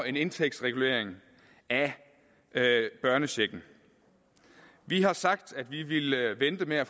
en indtægtsregulering af børnechecken vi har sagt at vi ville vente med at